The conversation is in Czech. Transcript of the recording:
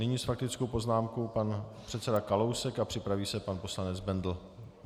Nyní s faktickou poznámkou pan předseda Kalousek a připraví se pan poslanec Bendl.